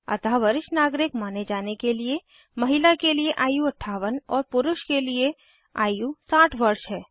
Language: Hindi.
अतः वरिष्ठ नागरिक माने जाने के लिए महिला के लिए आयु 58 और पुरुष के लिए आयु 60 वर्ष है